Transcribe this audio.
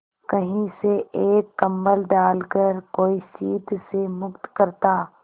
कहीं से एक कंबल डालकर कोई शीत से मुक्त करता